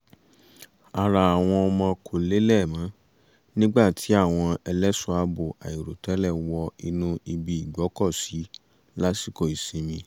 ara àwọn ọmọ kò lélẹ̀ mọ́ nígbà tí àwọn ẹlẹ́ṣọ̀ọ́ àbò àìròtẹ́lẹ̀ wọ inú ibi igbọ́kọ̀sí lásìkò ìsinmi